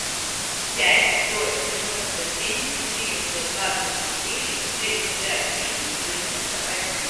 пять сто девяносто семь четыреста двадцать четыре шестьдесят три девяносто один